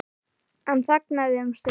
Hann þagnaði um stund.